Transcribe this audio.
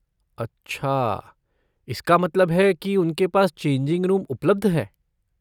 अच्छा, इसका मतलब है कि उनके पास चेंजिंग रूम उपलब्ध है।